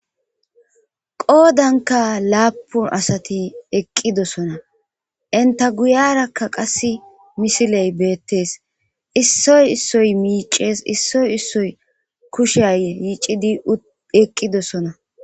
qoodanka laapun asati eqqidosona enta guyarakka qas misiley beettees issoy issoy miicees issoy issoy kushiya yiicidi eqqidosona